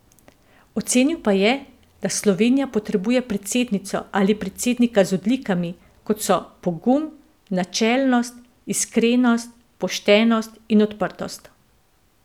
Ocenil pa je, da Slovenija potrebuje predsednico ali predsednika z odlikami, kot so pogum, načelnost, iskrenost, poštenost in odprtost.